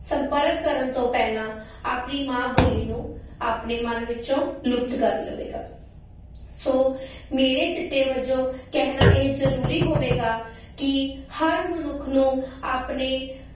ਸੰਪਰਕ ਕਰਨ ਤੋਂ ਪਹਿਲਾਂ ਆਪਣੀ ਮਾਂ ਬੋਲੀ ਨੂੰ ਆਪਣੇ ਮਨ ਵਿੱਚੋਂ ਲੁਪਤ ਕਰ ਲਵੇਗਾ, ਸੋ ਮੇਰੇ ਸਿੱਟੇ ਵਜੋਂ ਕਹਿਣਾ ਇਹ ਜ਼ਰੂਰੀ ਹੋਵੇਗਾ ਕਿ ਹਰ ਮਨੁੱਖ ਨੂੰ ਆਪਣੇ